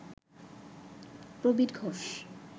Prabir Ghosh